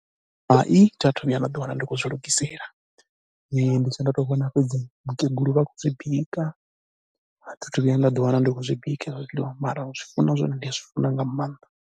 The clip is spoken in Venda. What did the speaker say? Hai, thi a thu vhuya nda ḓiwana ndi khou zwi lugisela. Ndi tshe ndo tou vhona fhedzi vhakegulu vha khou dzi bika, a thi a thu vhuya nda ḓiwana ndi khou zwi bika hezwo zwiḽiwa mara u zwi funa zwone ndi zwi funa nga maanḓa.